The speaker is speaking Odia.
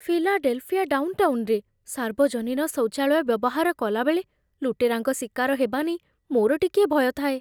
ଫିଲାଡେଲଫିଆ ଡାଉନଟାଉନରେ, ସାର୍ବଜନୀନ ଶୌଚାଳୟ ବ୍ୟବହାର କଲାବେଳେ ଲୁଟେରାଙ୍କ ଶିକାର ହେବା ନେଇ ମୋର ଟିକିଏ ଭୟ ଥାଏ।